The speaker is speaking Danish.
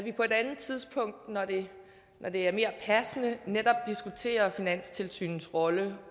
et andet tidspunkt når det er mere passende netop diskuterer finanstilsynets rolle